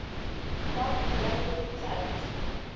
sa go ja ge letšatsi